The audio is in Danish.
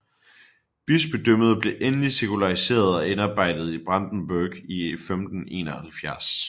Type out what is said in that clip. Bispedømmet blev endelig sekulariseret og indarbejdet i Brandenburg i 1571